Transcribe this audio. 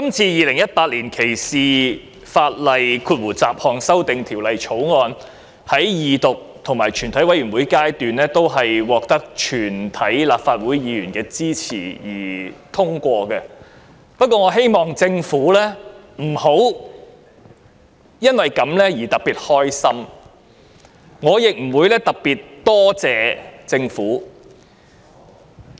《2018年歧視法例條例草案》在二讀階段和全體委員會均獲全體議員一致通過，但我希望政府不會因此而特別高興，我亦不會特意感謝政府。